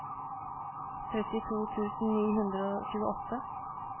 trettito tusen ni hundre og tjueåtte